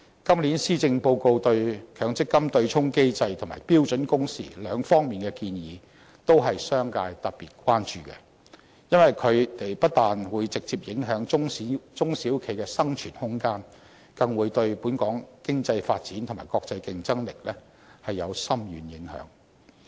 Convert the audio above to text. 今年施政報告對強積金對沖機制及標準工時兩方面的建議，都是商界特別關注的，因為它們不但會直接影響中小型企業的生存空間，更會對本港經濟發展及國際競爭力有深遠影響。